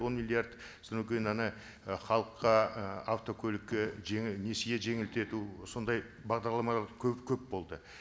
он миллиард содан кейін ана і халыққа ы автокөлікке жеңіл несие жеңілдету сондай бағдарламалар көп көп болды